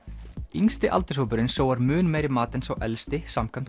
yngsti aldurshópurinn sóar mun meiri mat en sá elsti samkvæmt